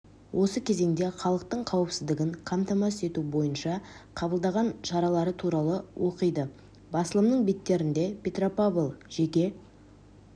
осы кезеңде халықтың қауіпсіздігін қамтамасыз ету бойынша қабылдаған шаралары туралы оқиды басылымның беттерінде петропавл жеке